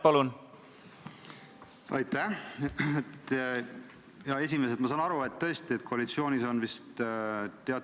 Eelnõu teise lugemise tekstis on keeleline täpsustus ja muudatusettepanek allajoonituna eristatavad.